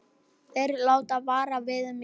Þeir láta vara við mér.